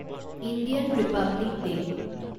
Indian republic day